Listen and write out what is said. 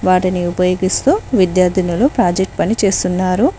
వాటిని ఉపయోగిస్తూ విద్యార్థులు ప్రాజెక్ట్ పని చేస్తున్నారు.